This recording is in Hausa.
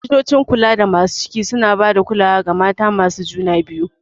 Likitocin kulada masu ciki suna ba da kulawa ga mata masu juna biyu.